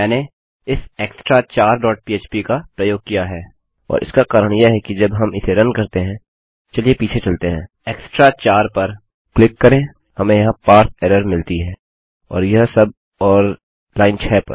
मैंने इस extrachar dot php का प्रयोग किया है और इसका कारण यह है कि जब हम इसे रन करते हैं चलिए पीछे चलते हैं extrachar पर क्लिक करेंहमें यह पारसे एरर इन एरर मिलती है और यह सब और लाइन 6 पर